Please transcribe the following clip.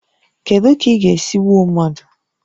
Kedu ka ị ga-esi gbuo mmadụ?